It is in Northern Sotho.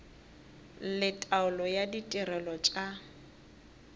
le taolo ya ditirelo tša